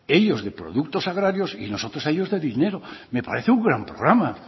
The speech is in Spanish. ellos de productos agrarios y nosotros a ellos de dinero me parece un gran programa